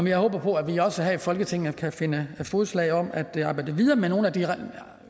jeg håber at vi også her i folketinget kan finde fælles fodslag om at arbejde videre med nogle af de